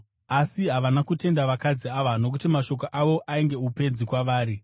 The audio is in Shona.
Asi havana kutenda vakadzi ava, nokuti mashoko avo ainge upenzi kwavari.